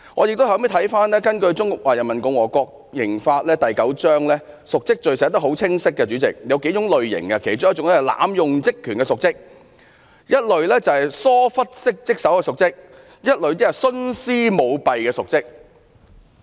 主席，根據《中華人民共和國刑法》第九章，瀆職罪的定義很清晰，當中有數類，包括濫用職權的瀆職、疏忽職守的瀆職和徇私舞弊的瀆職。